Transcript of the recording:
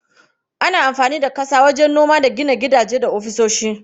Ana amfani da ƙasa wajen noma da gina gidaje da ofisoshi.